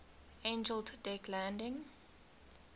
angled deck landing